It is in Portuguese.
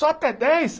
Só até dez?